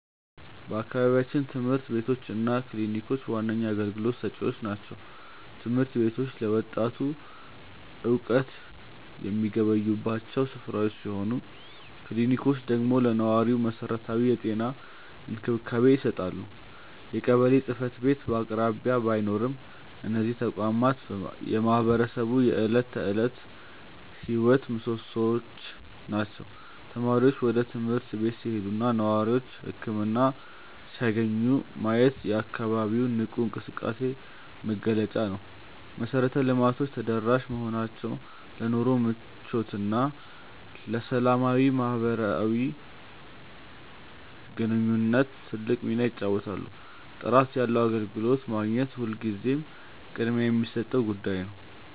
በአካባቢያችን ትምህርት ቤቶች እና ክሊኒኮች ዋነኛ አገልግሎት ሰጪዎች ናቸው። ትምህርት ቤቶቹ ለወጣቱ እውቀት የሚገበዩባቸው ስፍራዎች ሲሆኑ፣ ክሊኒኮቹ ደግሞ ለነዋሪው መሰረታዊ የጤና እንክብካቤ ይሰጣሉ። የቀበሌ ጽሕፈት ቤት በአቅራቢያ ባይኖርም፣ እነዚህ ተቋማት የማህበረሰቡ የዕለት ተዕለት ሕይወት ምሶሶዎች ናቸው። ተማሪዎች ወደ ትምህርት ቤት ሲሄዱና ነዋሪዎች ህክምና ሲያገኙ ማየት የአካባቢው ንቁ እንቅስቃሴ መገለጫ ነው። መሰረተ ልማቶቹ ተደራሽ መሆናቸው ለኑሮ ምቾትና ለሰላማዊ ማህበራዊ ግንኙነት ትልቅ ሚና ይጫወታሉ። ጥራት ያለው አገልግሎት ማግኘት ሁልጊዜም ቅድሚያ የሚሰጠው ጉዳይ ነው።